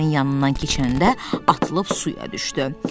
nın yanından keçəndə atılıb suya düşdü.